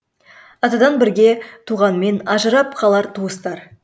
атадан бірге туғанмен ажырап қалар туыстар